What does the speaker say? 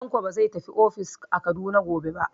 Tanko ba zai tafi ofis a Kaduna gobe ba.